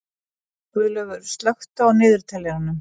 Guðlaugur, slökktu á niðurteljaranum.